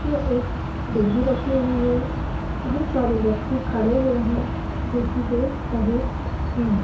इसमे एक डिगी रखी हुवी है बहुत सारे व्यक्ति खड़े हुवे हैं जोकी देख रहे हैं।